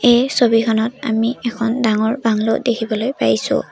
এই ছবিখনত আমি এখন ডাঙৰ বাংলো দেখিবলৈ পাইছোঁ।